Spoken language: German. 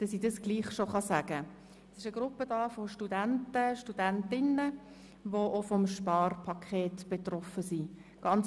Es handelt sich um eine Gruppe von Studentinnen und Studenten, die auch vom Sparpaket betroffen sind.